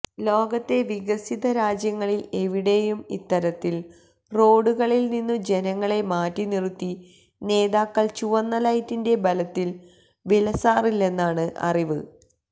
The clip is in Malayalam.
ലോകത്തെ വികസിത രാജ്യങ്ങളില് എവിടെയും ഇത്തരത്തില് റോഡുകളില് നിന്നു ജനങ്ങളെ മാറ്റിനിറുത്തി നേതാക്കള് ചുവന്ന ലൈറ്റിന്റെ ബലത്തില് വിലസാറില്ലെന്നാണ് അറിവ്